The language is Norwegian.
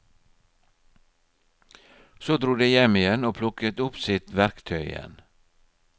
Så dro de hjem igjen og plukket opp sitt verktøy igjen.